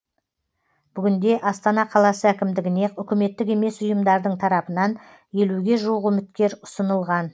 бүгінде астана қаласы әкімдігіне үкіметтік емес ұйымдардың тарапынан елуге жуық үміткер ұсынылған